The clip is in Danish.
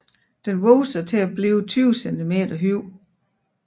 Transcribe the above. Den vokser til blive 20 cm høj